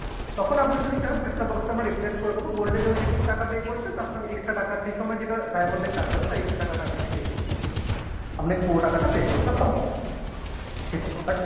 তখন আপনি যদি চান এই set up box টা আমরা replace করে দিবো। gold এর জন্য যেটুকু টাকা pay করেছেন তার থেকে extra টাকা সেসময় যেটা diamond এর চার্জ হবে তার extra টাকাটা আপনাকে pay করতে হবে আপনাকে পুরো টাকাটা pay করতে হবে না সেটা but